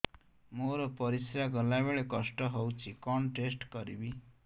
ମୋର ପରିସ୍ରା ଗଲାବେଳେ କଷ୍ଟ ହଉଚି କଣ ଟେଷ୍ଟ କରିବି